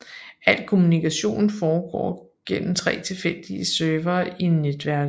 Al kommunikation går gennem tre tilfældige servere i netværket